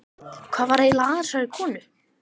Hvað var eiginlega að þessari konu?